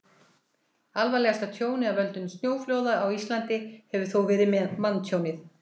alvarlegasta tjónið af völdum snjóflóða á íslandi hefur þó verið manntjónið